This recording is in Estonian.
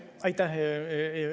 Aitäh!